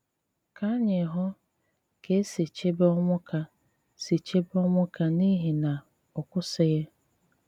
Kà ànyị hụ kà è sì chèbè Onwuka sì chèbè Onwuka n'ìhì nà ọ kwụsịghi